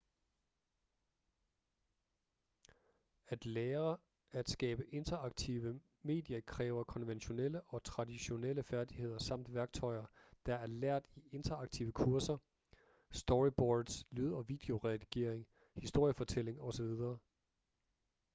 at lære at skabe interaktive medier kræver konventionelle og traditionelle færdigheder samt værktøjer der er lært i interaktive kurser storyboards lyd- og videoredigering historiefortælling osv.